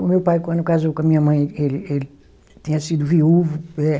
O meu pai, quando casou com a minha mãe, ele ele tinha sido viúvo.